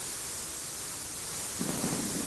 lo'da caanaha ayaa ku caawin kara.